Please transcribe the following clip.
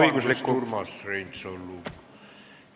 Vabandust, Urmas Reinsalu!